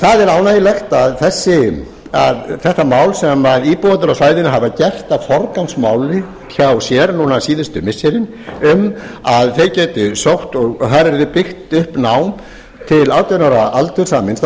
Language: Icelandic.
það er ánægjulegt að þetta mál sem íbúar á svæðinu hafa gert að forgangsmáli hjá sér núna síðustu missiri um að þeir geti sótt og þar yrði byggt upp nám til átján ára aldurs að minnsta